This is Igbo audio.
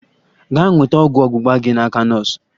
Gaa nweta ọgwụ ọgbugba gi n'aka nọọsụ!